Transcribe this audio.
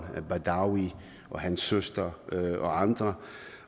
badawi og hans søster og andre